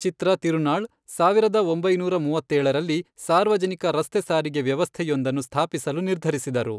ಚಿತ್ರ ತಿರುನಾಳ್ ಸಾವಿರದ ಒಂಬೈನೂರ ಮೂವತ್ತೇಳರಲ್ಲಿ, ಸಾರ್ವಜನಿಕ ರಸ್ತೆ ಸಾರಿಗೆ ವ್ಯವಸ್ಥೆಯೊಂದನ್ನು ಸ್ಥಾಪಿಸಲು ನಿರ್ಧರಿಸಿದರು.